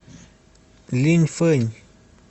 линьфэнь